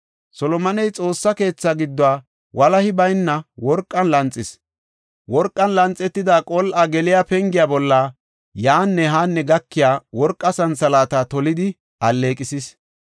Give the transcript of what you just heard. Solomoney Xoossa keetha gidduwa walahi bayna worqen lanxis; worqan lanxetida qol7a geliya pengiya bolla yaanne haanne gakiya worqa santhalaata tolidi alleeqisis.